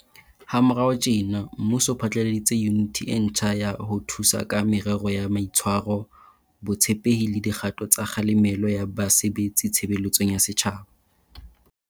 Ha morao tjena, mmuso o phatlaladitse Yuniti e ntjha ya ho Thusa ka Merero ya Mai tshwaro, Botshepehi le Di kgato tsa Kgalemelo ya Ba sebetsi Tshebeletsong ya Setjhaba.